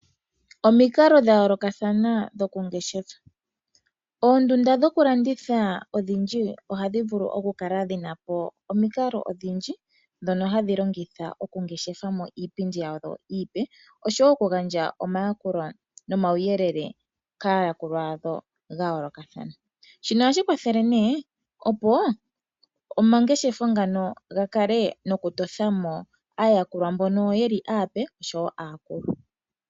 Omikalo dha yoolokathana dhoku ngeshefa . Oondunda dhokulanditha odhindji ohadhi vulu okukala dhinapo omikalo odhindji ndhono hadhi longitha okungeshefa mo iipindi yawo oshowo okugandja omayakulo nomawuyelele kaayakulwa yawo ga yoolokathana . Shino ohashi kwathele nee opo omangeshefo ngano gakale nokutothamo aayakulwa mbono yeli aape oshowo aakulu.